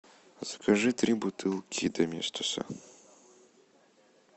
закажи три бутылки доместоса